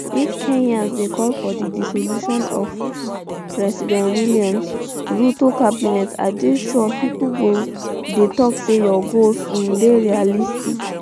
if kenyans dey call for di dissolution of um [president william] ruto cabinet i dey sure pipo go dey tok say your goals um dey unrealistic